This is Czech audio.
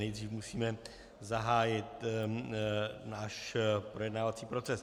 Nejdřív musíme zahájit náš projednávací proces.